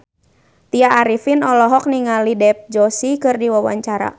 Tya Arifin olohok ningali Dev Joshi keur diwawancara